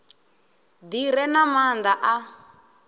ḓi re na maanḓa a